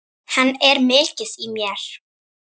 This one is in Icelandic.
Hann er mikið í mér.